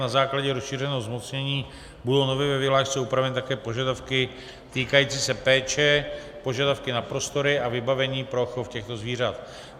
Na základě rozšířeného zmocnění budou nově ve vyhlášce upraveny také požadavky týkající se péče, požadavky na prostory a vybavení pro chov těchto zvířat.